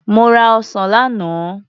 Mo ra ọsàn lánàá.